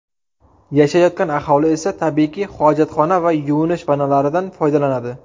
Yashayotgan aholi esa, tabiiyki, hojatxona va yuvinish vannalaridan foydalanadi.